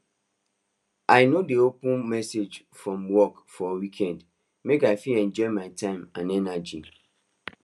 i no dey open message from work for weekend make i fit enjoy my time and energy